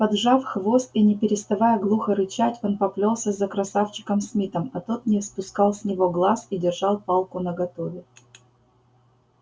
поджав хвост и не переставая глухо рычать он поплёлся за красавчиком смитом а тот не спускал с него глаз и держал палку наготове